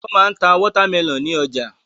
Wọ́n máa ń ta wọ́támẹlọ̀n ní ọjà.